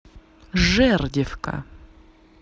жердевка